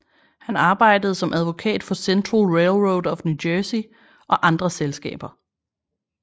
Han arbejdede som advokat for Central Railroad of New Jersey og andre selskaber